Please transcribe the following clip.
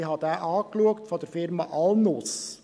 Ich habe ihn angeschaut, er stammt von der Firma Alnus.